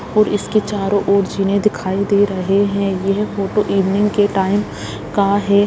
और इसके चारों और जीने दिखाई दे रहे हैं यह फोटो इवनिंग के टाइम का है।